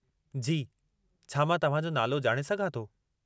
जी, छा मां तव्हां जो नालो ॼाणे सघां थो?